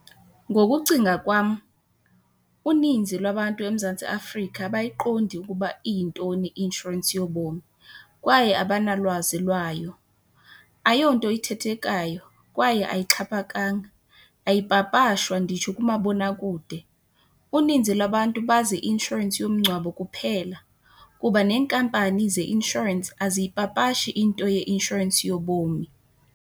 Ngokucinga kwam, uninzi lwabantu eMzantsi Afrika abayiqondi ukuba iyintoni i-inshorensi yobomi kwaye abanalwazi lwayo. Ayonto ithethekayo kwaye ayixhaphakanga, ayipapashwa nditsho kumabonakude. Uninzi lwabantu bazi i-inshorensi yomngcwabo kuphela, kuba neenkampani zeinshorensi aziyipapashi into yeinshorensi yobomi.